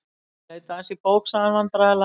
Ég leit aðeins í bók.- sagði hann vandræðalega.